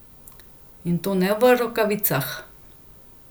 In to ne v rokavicah.